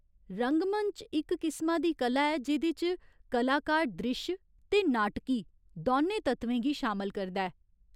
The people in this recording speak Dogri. रंगमंच इक किसमा दी कला ऐ जेह्दे च कलाकार द्रिश्श ते नाटकी दौनें तत्वें गी शामल करदा ऐ।